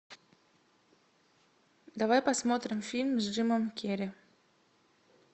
давай посмотрим фильм с джимом керри